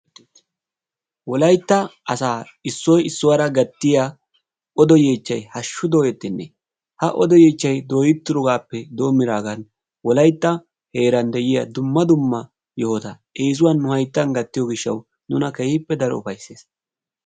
Wolaytta asaa issuwa issuwara gattiya odo yeechchayi hashshu dooyettenne. Ha odo yeechchayi dooyettidoogaappe doommidaagan wolaytta heeran de"iya dumma dumma yohota eesuwan nu hayttan gattiya nuna keehippe daro ufaysses.